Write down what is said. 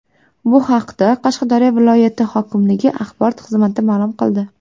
Bu haqda Qashqadaryo viloyati hokimligi axborot xizmati ma’lum qildi.